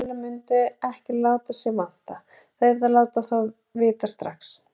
Fjölmiðlarnir mundu ekki láta sig vanta, það yrði að láta þá vita strax.